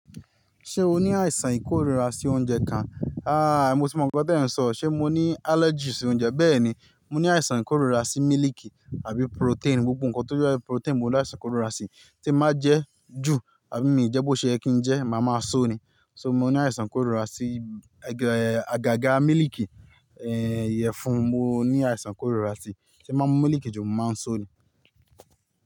Ṣé o ní àìsàn ìkórira sí oúnjẹ kan? Aaa mo ti mọ̀ pé gbọ́dọ̀ irun sọ, ṣe mo ní allergies sí oúnjẹ. Bẹ́ẹ̀ ni, mo ní àìsàn ìkórira sí mílíìkì àbí protein, gbogbo nǹkan tó jẹ́ protein mo ní àìsàn ìkórira sí. Tí èmi bá jẹ ju àbí mi jẹ́ bó ṣe yẹ kí n jẹ máa máa sóni. So mo ní àìsàn ìkórira sí àgàgà mílíìkì, ìyèfun mo ní àìsàn ìkórira sí. Tí èmi bá mú mílíìkì ju mo máa sóni.